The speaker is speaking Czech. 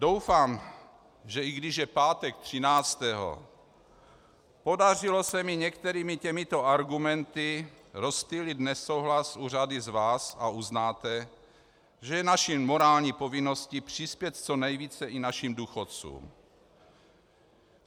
Doufám, že i když je pátek 13., podařilo se mi některými těmito argumenty rozptýlit nesouhlas u řady z vás a uznáte, že je naší morální povinností přispět co nejvíce i našim důchodcům.